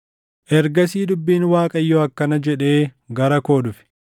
Ergasii dubbiin Waaqayyoo akkana jedhee gara koo dhufe: